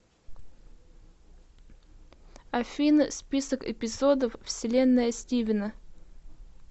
афина список эпизодов вселенная стивена